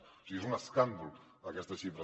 o sigui és un escàndol aquesta xifra